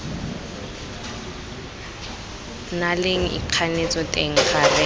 na leng ikganetso teng gareng